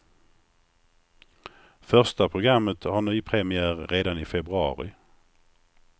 Första programmet har nypremiär redan i februari.